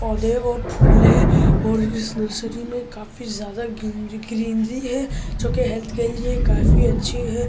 पौधे और फुल है और इस नर्सरी में काफ़ी ज्यादा जो कि हेल्थ के लिए काफ़ी अच्छी है और --